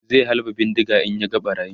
zai halba bindiga in ya ga ɓarayin